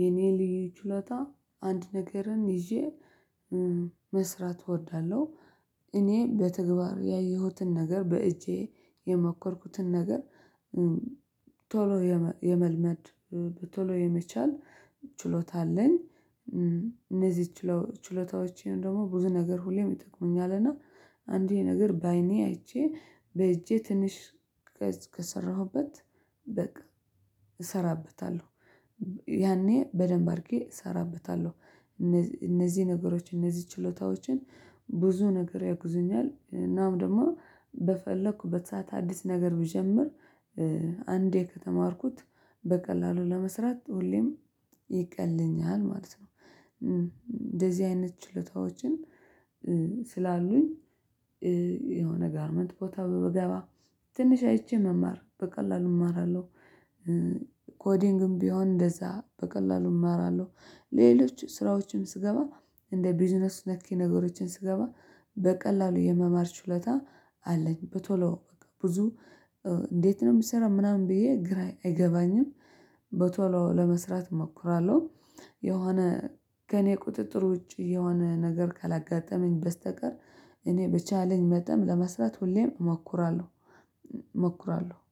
የኔ ልዩ ችሎታ አንድ ነገርን ይዤ መስራት እወዳለሁ እኔ በተግባር ያየሁትን ነገር በእጄ የሞከርኩትን ነገር። ቶሎ የመልመድ ቶሎ የመቻል ችሎታ አለኝ። እነዚህ ችሎታዎችን ደግሞ ብዙ ነገር ሁሌም ይጠቅሙኛል እና አንድን ነገር በአይኔ አይቼ በእጄ ትንሽ ከሰራሁበት በቃ እሰራበታለሁ። ያኔ በደንብ አድርጌ እሰራበታለሁ። እነዚህ ነገሮች እነዚህ ችሎታዎችን ብዙ ነገር ያግዙኛል። እናም ደግሞ በፈለኩበት ሰዓት አዲስ ነገር ብጀምር አንዴ ከተማርኩት በቀላሉ ለመስራት ሁሌም ይቀልኛል ማለት ነው። እንደዚህ አይነት ችሎታዎችን ስላሉኝ የሆነ ጋርመንት ቦታ ብገባ ትንሽ አይቼ መማር በቀላሉ እማራለሁ። ኮዲንግም ቢሆን እንደዛ በቀላሉ እማራለሁ ሌሎች ስራዎችን ስገባ እንደ ቢዝነስ ነክ ነገሮችን ስገባ በቀላሉ የመማር ችሎታ አለኝ። በቶሎ ብዙ እንዴት ነው የምሰራው ምናምን ብዬ ግራ አይገባኝም። በቶሎ ለመስራት እሞክራለሁ። የሆነ ከእኔ ቁጥጥር ውጪ የሆነ ነገር ካላጋጠመኝ በስተቀር እኔ በቻለኝ መጠን ለመስራት ሁሌም እሞክራለሁ። እሞክራለሁ